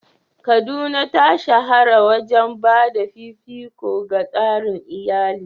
Kaduna ta shahara wajen ba da fifiko ga tsarin iyali.